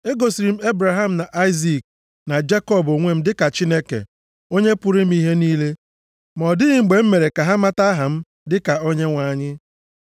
Egosiri m Ebraham na Aịzik na Jekọb onwe m dịka Chineke, Onye pụrụ ime ihe niile. Ma ọ dịghị mgbe m mere ka ha mata aha m dịka Onyenwe anyị.